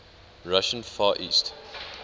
russian far east